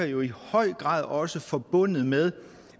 jo i høj grad også forbundet med